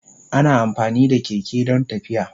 Ana amfani da keke don tafiya.